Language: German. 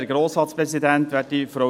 Kommissionssprecher